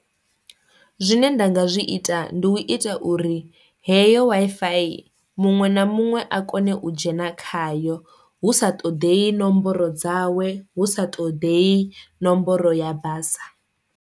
Zwine nda nga zwi ita ndi u ita uri heyo Wi-Fi muṅwe na muṅwe a kone u dzhena khayo, hu sa ṱoḓei nomboro dzawe, hu sa ṱoḓei nomboro ya basa.